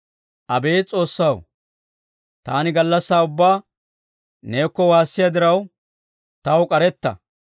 Abeet S'oossaw, taani gallassaa ubbaa neekko waassiyaa diraw, taw k'aretta.